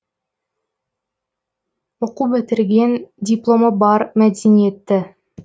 оқу бітірген дипломы бар мәдениетті